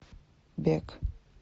бег